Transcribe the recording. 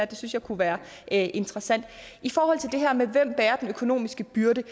det synes jeg kunne være interessant i forhold til det her med hvem der bærer den økonomiske byrde